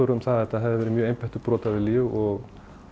um það að þetta hefði verið mjög einbeittur brotavilji og